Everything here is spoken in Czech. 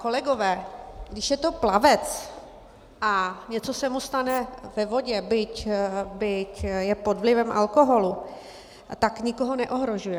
Kolegové, když je to plavec a něco se mu stane ve vodě, byť je pod vlivem alkoholu, tak nikoho neohrožuje.